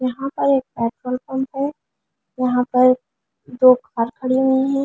यहाँ पर एक पेट्रोल पंप है यहाँ पर दो कार खड़ी हुई है।